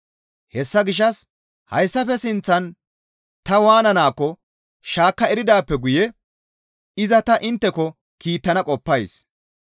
Hessa gishshas hayssafe sinththan ta waananaakko shaakka eridaappe guye iza ta intteko kiittana qoppays.